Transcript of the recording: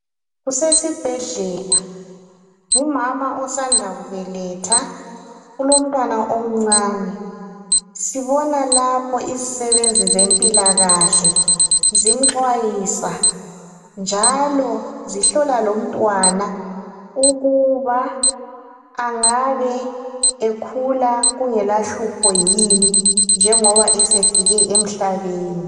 Kusesibhedlela ngumama osanda kubeletha ulomntwana omncane. Sibona lapho izisebenzi zempilakahle zimxwayisa njalo zihlola lomntwana ukuba angabe ekhula kungela hlupho yini njengoba esefike emhlabeni.